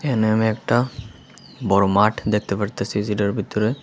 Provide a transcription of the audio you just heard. এখানে আমি একটা বড় মাঠ দেখতে পারতেছি যেটার ভিতরে--